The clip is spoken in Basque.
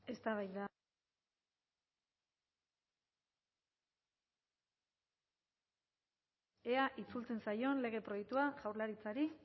eztabaida mikrofonoa itzalita hitz egin du ea itzultzen zaion lege proiektua jaurlaritzari